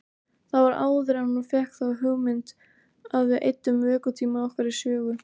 Það var áður en hún fékk þá hugmynd að við eyddum vökutíma okkar í sögu.